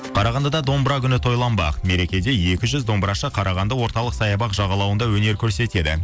қарағандыда домбыра күні тойланбақ мерекеде екі жүз домбырашы қарағанды орталық саябақ жағалауында өнер көрсетеді